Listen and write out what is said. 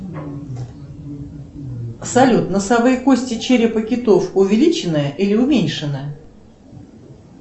салют носовые кости черепа китов увеличены или уменьшены